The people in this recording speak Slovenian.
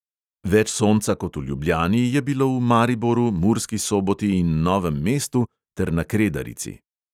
Več sonca kot v ljubljani je bilo v mariboru, murski soboti in novem mestu ter na kredarici.